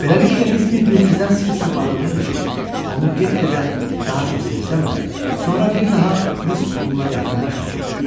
Beləliklə biz bir-birimizdən sir saxladığımız üçün onu get-gedə daha çox sevsəm də, sonra bir daha biz onunla yaxınlaşmadıq.